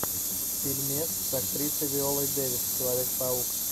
фильмец с актрисой виолой дэвис человек паук